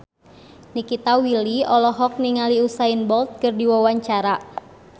Nikita Willy olohok ningali Usain Bolt keur diwawancara